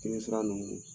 Jeli sira nunnu